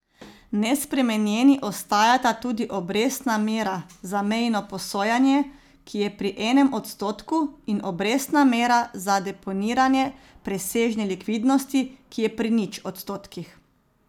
Nespremenjeni ostajata tudi obrestna mera za mejno posojanje, ki je pri enem odstotku, in obrestna mera za deponiranje presežne likvidnosti, ki je pri nič odstotkih.